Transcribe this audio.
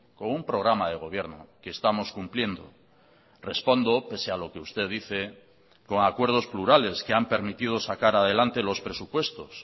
con un programa de gobierno que estamos cumpliendo respondo pese a lo que usted dice con acuerdos plurales que han permitido sacar adelante los presupuestos